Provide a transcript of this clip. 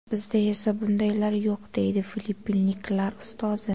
Bizda esa bundaylar yo‘q”, deydi filippinliklar ustozi.